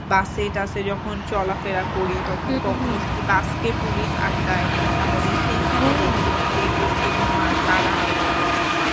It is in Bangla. bus এ টাসে যখন চলাফেরা করি তখন কখনো যদি bus কে police আটকায় তাহলে সেইখানে দেখি যে হচ্ছে তোমার তারা ওইরকম